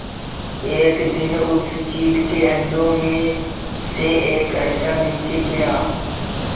एक दिन उस चील के अंडों में से एक अंडा नीचे गिरा